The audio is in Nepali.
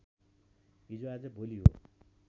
हिजो आज भोलि हो